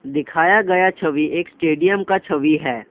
दिखाया गया छवि एक स्टेडियम का छवि है।